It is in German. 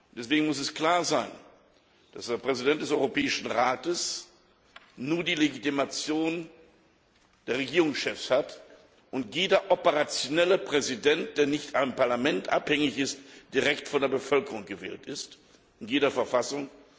Deswegen muss es klar sein, dass der Präsident des Europäischen Rates nur die Legitimation der Regierungschefs hat und jeder operationelle Präsident, der nicht vom Parlament abhängig ist, direkt von der Bevölkerung gewählt wird, in jeder Verfassung.